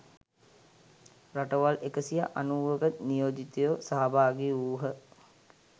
රටවල් එකසිය අනූවක නියෝජිතයෝ සහභාගි වූ හ.